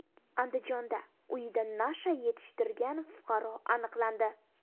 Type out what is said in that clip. Andijonda uyida nasha yetishtirgan fuqaro aniqlandi.